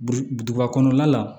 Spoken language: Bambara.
Duguba kɔnɔna la